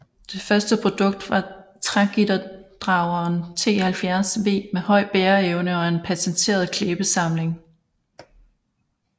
Det første produkt var trægitterdrageren T 70 V med høj bæreevne og en patenteret klæbesamling